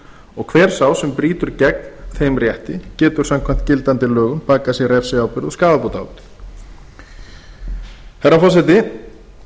mannorð hver sá sem brýtur gegn þeim rétti getur samkvæmt gildandi lögum bakað sér refsiábyrgð og skaðabótaábyrgð herra forseti